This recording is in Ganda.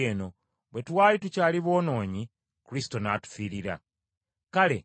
Kale obanga twaweebwa obutuukirivu olw’omusaayi gwe, alitulokola okuva mu busungu bwa Katonda.